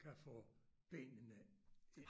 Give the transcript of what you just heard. Kan få benene ind